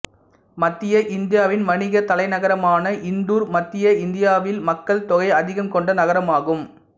மத்திய இந்தியாவின் வணிகத் தலைநகரமான இந்தூர் மத்திய இந்தியாவில் மக்கள் தொகை அதிகம் கொண்ட நகரம் ஆகும்